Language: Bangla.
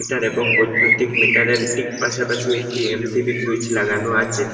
এর এবং বৈদ্যুতিক মিটারের ঠিক পাশাপাশি একটি এম_সি_বি সুইচ লাগানো আচে।